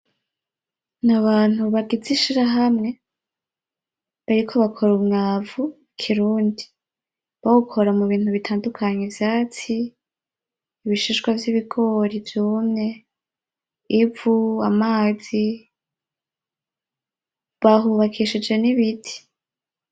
Abantu bagize ishiramwe bariko bakora umwavu w’ikirundi, bawukora mubintu bitandukanye :ivyatsi, m’ubishishwa vy’ibigori vyumwe, ivu ,amazi, bahubakishije n’ibiti .